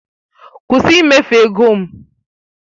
Kwụsị ịmefu ego m!